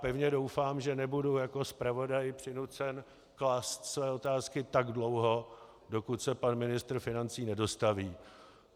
Pevně doufám, že nebudu jako zpravodaj přinucen klást své otázky tak dlouho, dokud se pan ministr financí nedostaví.